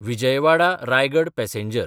विजयवाडा–रायगड passenger